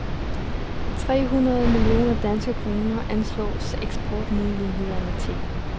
Tre hundrede millioner danske kroner anslås eksportmulighederne til.